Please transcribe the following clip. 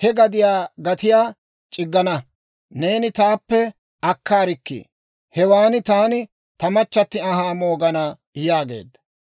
he gadiyaa gatiyaa c'iggana; neeni taappe akkaarikkii! Hewaan taani ta machchatti anhaa moogana» yaageedda.